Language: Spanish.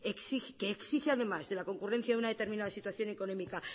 que exige además de la concurrencia de una determinada situación económica